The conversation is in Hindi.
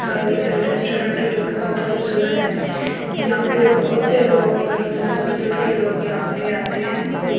अ रेस्टोरेंट जो की बहुत खूबसूरत है यहां पे बहुत से लोग बहुत दूर दूर के लोग यहां पे आते हैं।